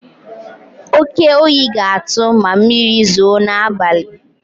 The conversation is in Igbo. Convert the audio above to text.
Oke oyi ga-atụ ma mmiri zoo n'abalị.